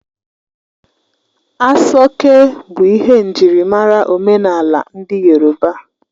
Aso oke bụ ihe njirimara omenala ndị yorọba.